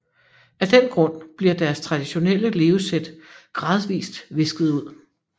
Af den grund bliver deres traditionelle levesæt gradvist visket ud